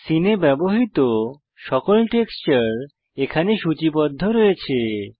সীনে ব্যবহৃত সকল টেক্সচার এখানে সূচিবদ্ধ আছে